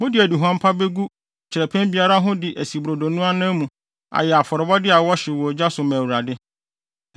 Mode aduhuam pa begu kyerɛpɛn biara ho de asi brodo no anan mu ayɛ afɔrebɔde a wɔhyew wɔ ogya so ma Awurade.